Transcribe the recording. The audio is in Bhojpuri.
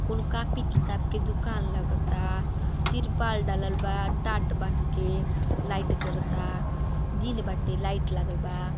कुल कॉपी किताब के दुकान लागता तिरपाल डालल बा टाट बांध के लाइट जरता दिन बाटे लाइट लागल बा।